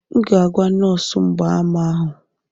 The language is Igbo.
M ga-agwa nọọsụ mgbaàmà ahụ.